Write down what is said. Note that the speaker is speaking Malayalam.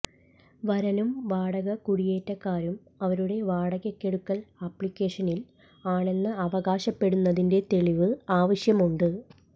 വരനും വാടക കുടിയേറ്റക്കാരും അവരുടെ വാടകയ്ക്കെടുക്കൽ അപ്ലിക്കേഷനിൽ ആണെന്ന് അവകാശപ്പെടുന്നതിന് തെളിവ് ആവശ്യമുണ്ട്